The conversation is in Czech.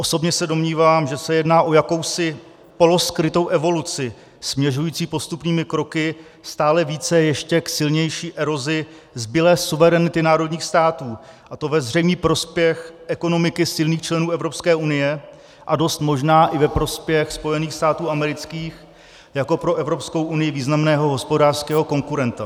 Osobně se domnívám, že se jedná o jakousi poloskrytou evoluci směřující postupnými kroky stále více k ještě silnější erozi zbylé suverenity národních států, a to ve zřejmý prospěch ekonomiky silných členů Evropské unie a dost možná i ve prospěch Spojených států amerických jako pro Evropskou unii významného hospodářského konkurenta.